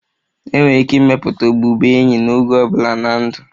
Enwere ike ịmepụta ọbụbụenyi n'oge ọ bụla na ndụ.